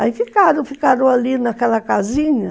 Aí ficaram, ficaram ali naquela casinha.